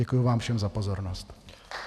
Děkuji vám všem za pozornost.